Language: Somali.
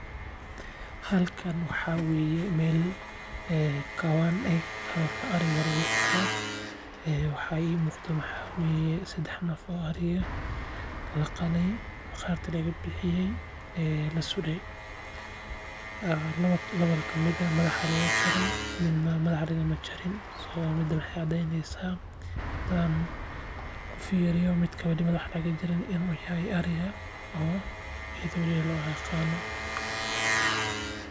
Halkaan wexee weeye meel kawaan ah meel ariga lagu qalo, waxaa imuuqda waxaa weeye sidax neef oo ari eh laqalay, maqaarka laga bixiyey, lasuray lawa kamid eh madaxa lagajaray midna madaxa lagama jarin so mida waxaay cadeeyneysaa hadaan kufiiriyo midka wali madaxa laga jarin inuu yahay ariga oo idooleey loo aqaano